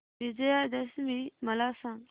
विजयादशमी मला सांग